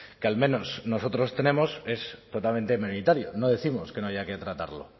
que al menos nosotros tenemos es totalmente minoritaria no décimos que no haya que tratarlo